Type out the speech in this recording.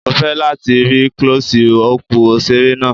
Mo fẹ́ láti rí Klọ́sí ọpù òṣèré náà.